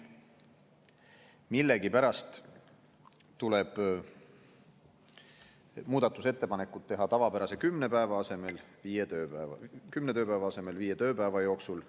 Millegipärast tuleb muudatusettepanekud teha tavapärase kümne tööpäeva asemel viie tööpäeva jooksul.